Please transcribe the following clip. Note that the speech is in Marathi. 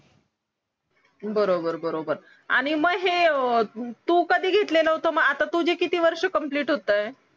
बरोबर बरोबर आणि मग हे तू कधी घेतलेल होत मग आता तुझे किती वर्ष कंप्लिट होतायत